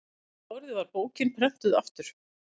um árið var bókin prenntuð aftur